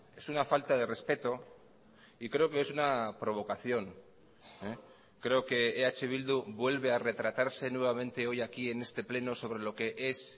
es una falta de respeto y creo que es una provocación creo que eh bildu vuelve a retratarse nuevamente hoy aquí en este pleno sobre lo que es